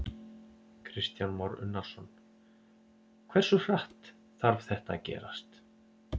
Kristján Már Unnarsson: Hversu hratt þarf þetta að gerast?